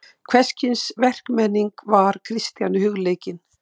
Hvers kyns verkmenning var Kristjáni hugleikin.